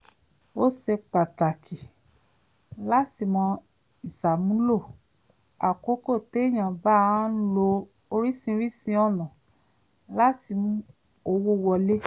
ó ṣe pàtàkì láti mọ ìṣàmúlò àkókò téyàn bá ń lo oríṣiríṣi ọ̀nà láti mú owó wọlé